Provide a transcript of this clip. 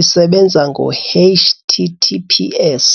isebenza ngo-h_t_t_p_s.